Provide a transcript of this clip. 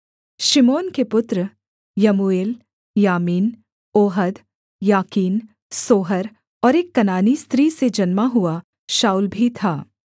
शिमोन के पुत्र यमूएल यामीन ओहद याकीन सोहर और एक कनानी स्त्री से जन्मा हुआ शाऊल भी था